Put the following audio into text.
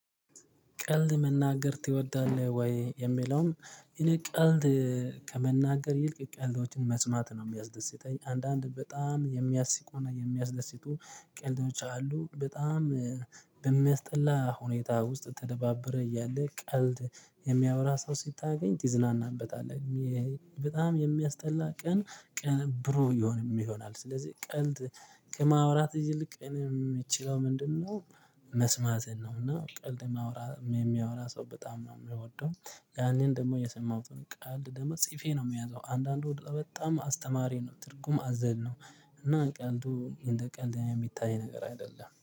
ቀልድ መናገር ትወዳለህ ወይ? የሚለውም እኔ ቀልድ ከመናገር ይልቅ ቀልዶችን መስማት ነው እሚያስደስተኝ አንዳንድ በጣም የሚያስቁና የሚያስደስቱ ቀልዶች አሉ። በጣም በሚያስጠላ ሁኔታ ውስጥ ተደባብረህ እያለ ቀልድ የሚያወራ ሰው ሲታገኝ ትዝናናበታለህ። በጣም የሚያስጠላ ቀን ብሩህ ይሆንም ይሆናል። ስለዚህ ቀልድ ከማውራት ይልቅ እኔ እምችለው ምንድነው መስማትን ነው። እና ቀልድ ማውራት ሶ በጣም ነው እምወደው። ያንን ደግሞ የሰማሁትን ቀልድ ደግሞ ጽፌ ነው እምይዘው አንዳንዱ በጣም አስተማሪ ነው ትርጉም አዘልነው። እና ቀልዱ እንደ ቀልድ እሚታይ ነገር አይደለም